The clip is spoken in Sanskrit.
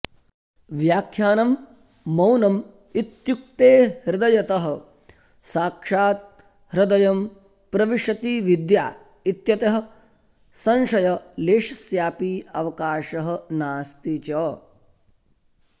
व्याख्यानं मौनम् इत्युक्ते हृदयतः साक्षात् हृदयं प्रविशति विद्या इत्यतः संशयलेशस्यापि अवकाशः नास्ति च